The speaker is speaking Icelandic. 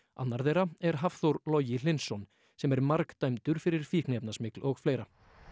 annar þeirra er Hafþór Logi Hlynsson sem er margdæmdur fyrir fíkniefnasmygl og fleira